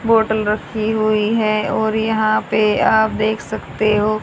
Bottle रखी हुई है और यहां पे आप देख सकते हो।